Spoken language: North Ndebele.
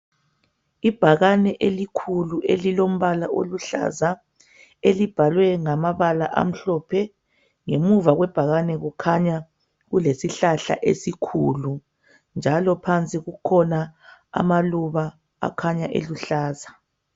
Ibhakane elikhulu elilombala oluhlaza elibhalwe ngamabala amhlophe ngemuva kwebhakane kukhanya kulesihlahla esikhulu njalo phansi kukhona amaluba akhanya eluhlaza.